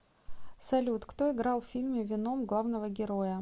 салют кто играл в фильме веном главного героя